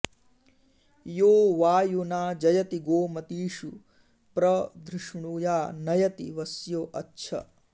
यो वायुना जयति गोमतीषु प्र धृष्णुया नयति वस्यो अच्छ